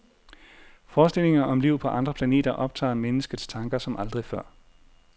Forestillinger om liv på andre planeter optager menneskets tanker som aldrig før.